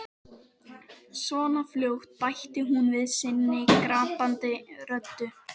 . svona fljótt, bætti hún við sinni gapandi röddu.